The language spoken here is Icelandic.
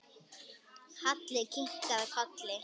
Halli kinkaði kolli.